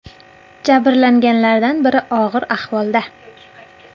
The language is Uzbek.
Jabrlanganlardan biri og‘ir ahvolda.